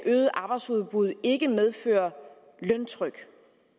øget arbejdsudbud ikke medføre løntryk